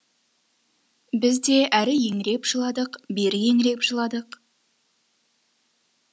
біз де әрі еңіреп жыладық бері еңіреп жыладық